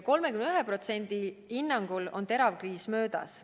31% hinnangul on terav kriis möödas.